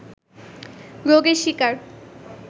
রোগের শিকার